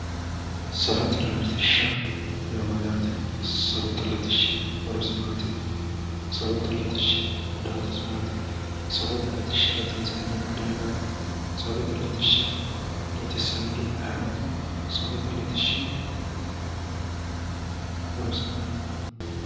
safote latishsha yaa mayyaate? safote latishshi horosi maati? safote latishshi gudaatisi maati? safote latishsha latinsannihu ma dargaati? safote latishsha latissannori ayeeooti? safote latishshi horosi maati?